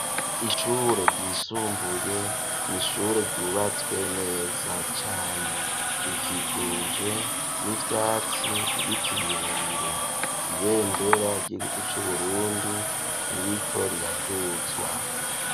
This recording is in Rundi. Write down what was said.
Ishure ryisumbuye, n'ishure ryubatswe neza cane. Rikikuje n'ivyatsi, ibiti birebire . Ibendera ry'igihugu c'Uburundi ririko riraduzwa.